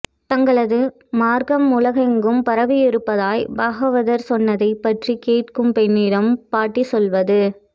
தங்களது மார்க்கம் உலகெங்கும் பரவியிருப்பதாய் பாகவதர் சொன்னதைப்பற்றிக் கேட்கும் பெண்ணிடம் பாட்டி சொல்வது